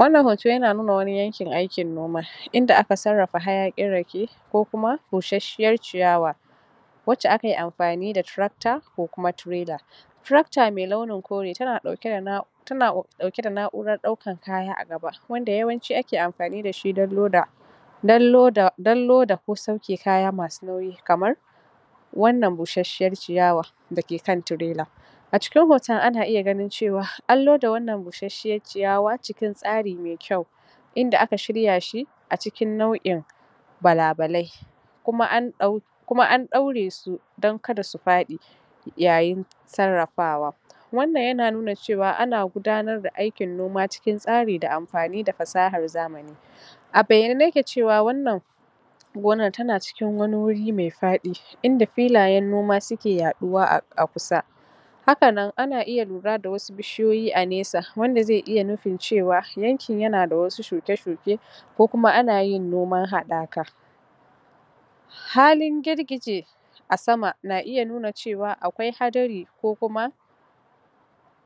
Wannan hoto yana nuna wani yankin aikin noma inda aka sarrafa hayaƙin rake ko kuma busasshiyar ciyawa wacce akayi amfani da tracta ko kuma trailer tracta mai launin kore tana ɗauke da na tana ɗauke da na'urar ɗaukan kaya a gaba wanda yawanci ake amfani da shi dan loda dan loda dan loda ko sauke kaya masu nauyi kamar wannan busasshiyar ciyawa da ke kan trailer. A cikin hoton ana iya ganin cewa an loda wannan busasshiyar ciyawa cikin tsari mai ƙyau inda aka shirya shi a cikin nau'in balabalai kuma an ɗau kuma an ɗauresu kada su paɗi yayin sarrafawa. Wannan yana nuna cewa ana gudanar da aikin noma cikin tsari da amfani da fasahar zamani. A bayyane nake cewa wannan gonar tana cikin wani wuri mai faɗi inda filayen noma suke yaɗuwa a kusa, hakanan ana iya lura da wasu bishiyoyi a nesa wanda ze iya nufin cewa yankin yana da wasu shuke-shuke ko kuma ana yin noman hadaka. Halin girgije a sama na iya nuna cewa akwai hadari ko kuma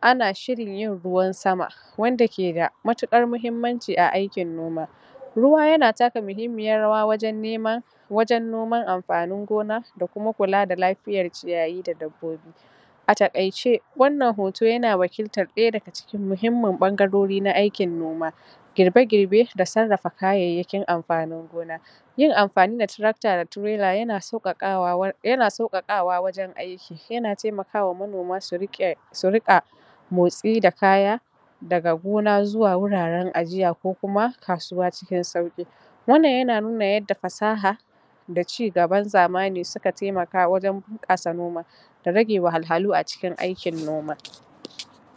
ana shirin yin ruwan sama wanda keda matuƙar muhimmanci a aikin noma, ruwa yana taka muhimmiyar rawa wajan nemann wajan noman anfanin gona a kuma kula da lafiyar ciyayi da dabbobi. A taƙaice wannan hoto A taƙaice wannan hoto yana wakiltar daya daga cikin muhimman ɓangarori na aikin noma girbe-girbe da sarrafa kayayyakin amfanin gona. Yin amfani da tracta da trailer yana sauƙaƙawa wur yana sauƙaƙawa wajan aiki, yana taimakawa manoma su riƙe su riƙa motsi da kaya daga gona zuwa wuraren ajiya ko kuma kasuwa cikin sauki, wannan yana nuna yadda fasaha da cigaban zamani suka taimaka wajan bunƙasa noma da rage wahalhalu a cikin aikin noma.